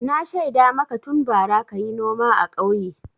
Na shaida maka tun bara ka yi noma a ƙauye.